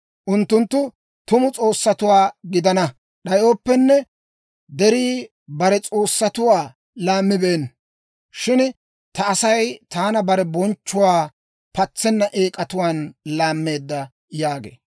Unttunttu tumu s'oossatuwaa gidana d'ayooppenne, derii bare s'oossatuwaa laammibeenna. Shin ta Asay taana bare bonchchuwaa patsenna eek'atuwaan laammeedda» yaagee.